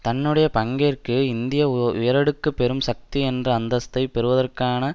தன்னுடைய பங்கிற்கு இந்திய உயரடுக்கு பெரும் சக்தி என்ற அந்தஸ்தை பெறுவதற்கான